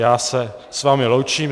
Já se s vámi loučím.